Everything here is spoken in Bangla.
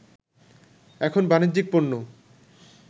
এখন বাণিজ্যিক পণ্য